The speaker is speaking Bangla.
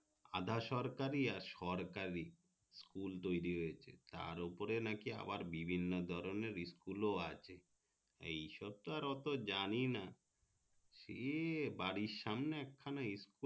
আধা সরকারি আর সরকারি school তৈরি হয়েছে তার ওপরে নাকি আবার বিভিন্ন ধরণের school ও আছে এই সব তো অতো জানিনা সে বাড়ির সামনে এক খানা school